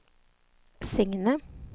Signe